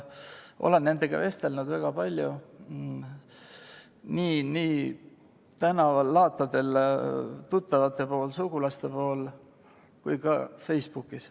Olen nendega vestelnud väga palju, nii tänaval, laatadel, tuttavate-sugulaste pool kui ka Facebookis.